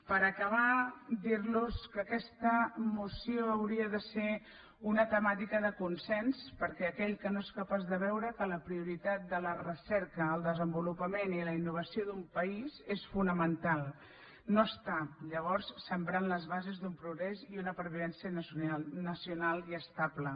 per acabar dir los que aquesta moció hauria de ser una temàtica de consens perquè aquell que no és capaç de veure que la prioritat de la recerca el desenvolupament i la innovació d’un país és fonamental no està llavors sembrant les bases d’un progrés i una pervivència nacional i estable